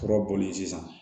Kura boli sisan